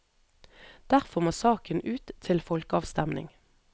Derfor må saken ut til folkeavstemning.